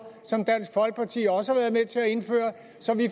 som dansk folkeparti også og så vi